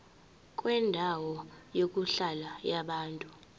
kwendawo yokuhlala yabantu